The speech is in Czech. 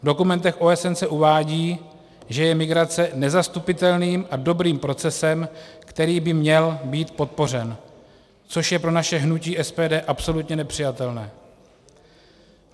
V dokumentech OSN se uvádí, že je migrace nezastupitelným a dobrým procesem, který by měl být podpořen, což je pro naše hnutí SPD absolutně nepřijatelné.